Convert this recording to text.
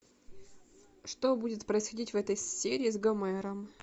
что будет происходить в этой серии с гомером